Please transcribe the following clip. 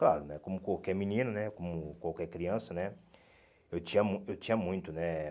Claro né, como qualquer menino né, como qualquer criança né, eu tinha mui eu tinha muito né.